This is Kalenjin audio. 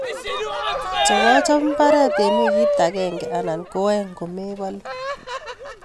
Chobchob mbaret en wikit agenge anan ko oeng' komebolu